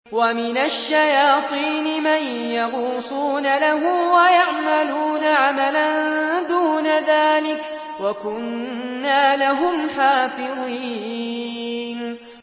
وَمِنَ الشَّيَاطِينِ مَن يَغُوصُونَ لَهُ وَيَعْمَلُونَ عَمَلًا دُونَ ذَٰلِكَ ۖ وَكُنَّا لَهُمْ حَافِظِينَ